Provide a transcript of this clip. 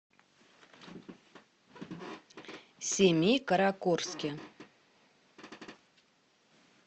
семикаракорске